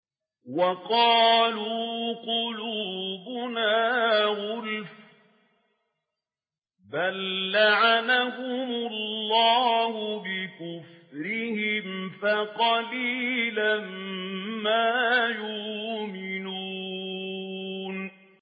وَقَالُوا قُلُوبُنَا غُلْفٌ ۚ بَل لَّعَنَهُمُ اللَّهُ بِكُفْرِهِمْ فَقَلِيلًا مَّا يُؤْمِنُونَ